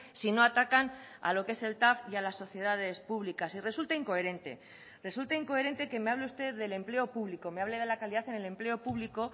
si no atacan a lo que es el tav y a las sociedades públicas y resulta incoherente resulta incoherente que me hable usted del empleo público me hable de la calidad en el empleo público